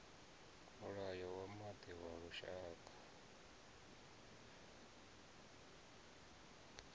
mulayo wa maḓi wa lushaka